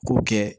K'o kɛ